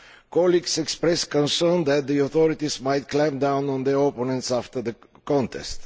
Colleagues express concern that the authorities might clamp down on their opponents after the contest.